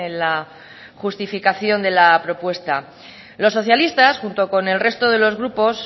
la justificación de la propuesta los socialistas junto con el resto de los grupos